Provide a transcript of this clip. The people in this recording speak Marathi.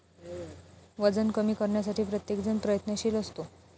वजन कमी करण्यासाठी प्रत्येकजण प्रयत्नशील असतो.